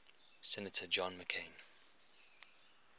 senator john mccain